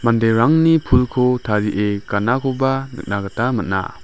manderangni pulko tarie ganakoba nikna gita man·a.